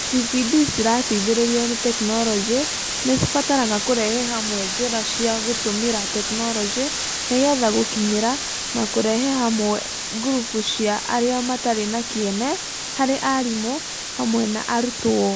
TPD cirateithĩrĩrio ni tekinoronjĩ nĩ cibataraga kũrehe hamwe njĩra cia gũtũmira tekinoronjĩ nĩ getha gũkinyĩra na kũrehe hamwe gurubu cia arĩa matarĩ na kĩene harĩ arimũ hamwe na arutwo.